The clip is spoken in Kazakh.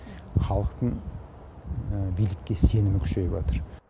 халықтың билікке сенімі күшейіватыр